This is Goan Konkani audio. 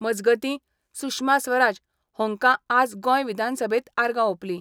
मजगतीं, सुषमा स्वराज हांकां आज गोंय विधानसभेत आर्गां ओपलीं.